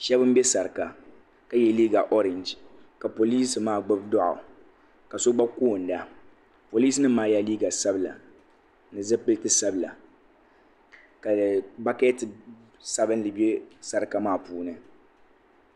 shɛba m-be sarika ka ye liiga ooreji ka polinsi maa gbubi dɔɣu ka so gba koonda polinsi nima maa yela liiga sabila ni zupiliti sabila ka baketi sabinli be sarika maa puuni.